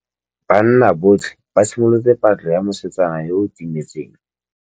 Banna botlhê ba simolotse patlô ya mosetsana yo o timetseng.